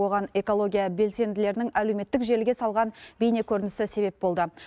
оған экология белсенділерінің әлеуметтік желіге салған бейнекөрінісі себеп болды